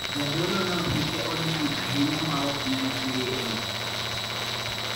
Jadolono hike oniang' ahinya maok nyal tweye e od twech.